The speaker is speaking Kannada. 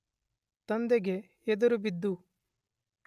ತಂದೆಗೆ ಎದುರುಬಿದ್ದು